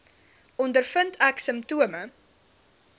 ondervind ek simptome